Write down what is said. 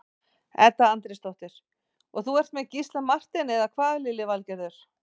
Edda Andrésdóttir: Og þú ert með Gísla Martein, eða hvað Lillý Valgerður?